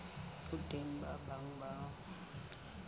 ho teng ba bang ba